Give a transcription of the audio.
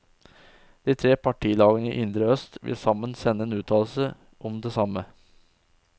De tre partilagene i indre øst vil sammen sende en uttalelse om det samme.